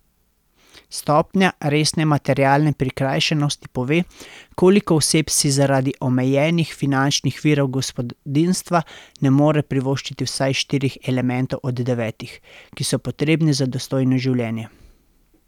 Stopnja resne materialne prikrajšanosti pove, koliko oseb si zaradi omejenih finančnih virov gospodinjstva ne more privoščiti vsaj štirih elementov od devetih, ki so potrebni za dostojno življenje.